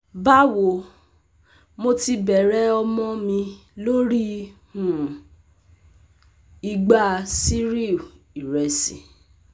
Bawo, Mo ti bẹrẹ ọmọ mi lori um igba cereal iresi